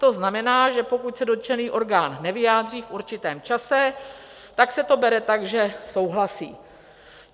To znamená, že pokud se dotčený orgán nevyjádří v určitém čase, tak se to bere tak, že souhlasí.